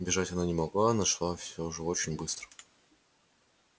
бежать она не могла но шла всё же очень быстро